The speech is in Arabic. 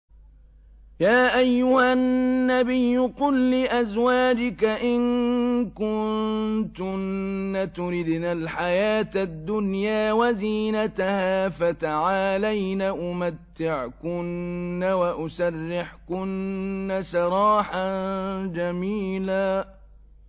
يَا أَيُّهَا النَّبِيُّ قُل لِّأَزْوَاجِكَ إِن كُنتُنَّ تُرِدْنَ الْحَيَاةَ الدُّنْيَا وَزِينَتَهَا فَتَعَالَيْنَ أُمَتِّعْكُنَّ وَأُسَرِّحْكُنَّ سَرَاحًا جَمِيلًا